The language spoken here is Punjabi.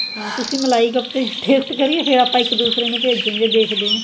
ਹਾਂ ਤੁਸੀਂ ਮਲਾਈ ਕੋਫਤੇ taste ਫਿਰ ਆਪਾਂ ਇੱਕ ਦੂਸਰੇ ਨੂੰ ਭੇਜਾਗੇ ਦੇਖਦੇ ਆ